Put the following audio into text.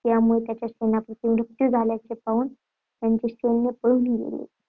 त्यांचा सेनापती मृत झाल्याचे पाहून त्यांचे सैन्य पळून गेले.